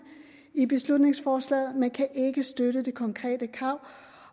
i beslutningsforslaget men vi kan ikke støtte det konkrete krav